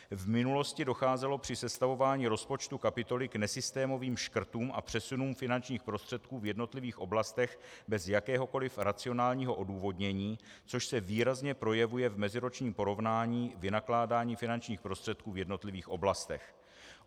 V minulosti docházelo při sestavování rozpočtu kapitoly k nesystémovým škrtům a přesunům finančních prostředků v jednotlivých oblastech bez jakéhokoli racionálního odůvodnění, což se výrazně projevuje v meziročním porovnání vynakládání finančních prostředků v jednotlivých oblastech.